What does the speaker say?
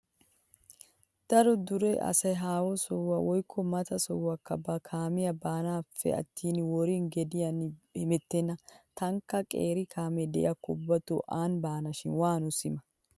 Daro dure asay haaho soha woykko mata sohaakka ba kaamiyan baanappe attin worin gediyan hemettenna. Taanikka qeeri kaamee diyakko ubbatoo aani baanashin waanoo sima?